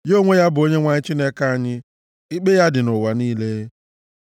Ya onwe ya bụ Onyenwe anyị Chineke anyị; ikpe ya dị nʼụwa niile.